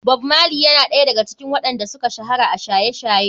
Bob marley yana ɗaya daga cikin waɗan da suka shahara a shaye-shaye.